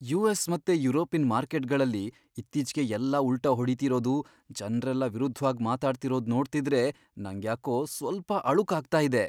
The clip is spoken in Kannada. ಯು.ಎಸ್. ಮತ್ತೆ ಯುರೋಪಿನ್ ಮಾರ್ಕೆಟ್ಗಳಲ್ಲಿ ಇತ್ತೀಚ್ಗೆ ಎಲ್ಲಾ ಉಲ್ಟಾ ಹೊಡಿತಿರೋದು, ಜನ್ರೆಲ್ಲ ವಿರುದ್ಧ್ವಾಗ್ ಮಾತಾಡ್ತಿರೋದ್ ನೋಡ್ತಿದ್ರೆ ನಂಗ್ಯಾಕೋ ಸ್ವಲ್ಪ ಅಳುಕಾಗ್ತಾ ಇದೆ.